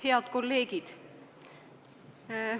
Head kolleegid!